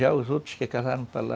Já os outros que casaram para lá.